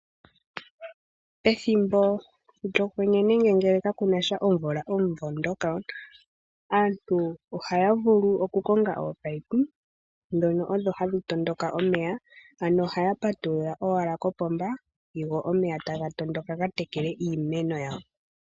Pethimbo lyokwenye nenge ngele kapu nasha omvula omumvo ngoka aantu oha ya vulu okukonga ominino ndhono odho hadhi tondoka omeya ano ohaya patulula owala kopomba go omeya taga tondoka ga tekele iimeno yawo .